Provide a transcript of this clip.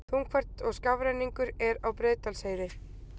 Þungfært og skafrenningur er á Breiðdalsheiði